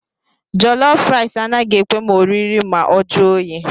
Jọlọf raịs anaghị ekwe m oriri ma ọ jụọ oyi